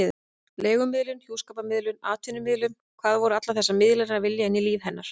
Leigumiðlun, hjúskaparmiðlun, atvinnumiðlun: hvað voru allar þessar miðlanir að vilja inn í líf hennar?